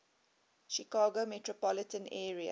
chicago metropolitan area